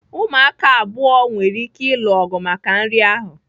Ụmụaka abụọ nwere ike ịlụ ọgụ maka nri ahụ.